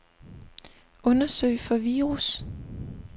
Undersøg for virus.